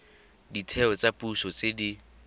ditheo tsa puso tse di